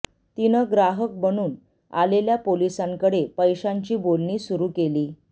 तिनं ग्राहक बनून आलेल्या पोलिसांकडे पैशांची बोलणी सुरु केली